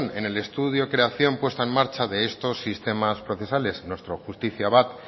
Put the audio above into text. en el estudio de creación puesta en marcha de estos sistema procesales nuestro justicia